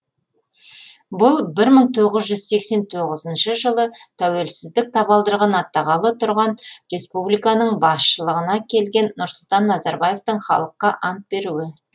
бұл бір мың тоғыз жүз сексен тоғызыншы жылы тәуелсіздік табалдырығын аттағалы тұрған республиканың басшылығына келген нұрсұлтан назарбаевтың халыққа ант беруі